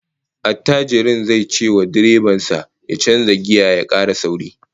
Attajirin zai cewa direban sa ya canza giya ya kara sauri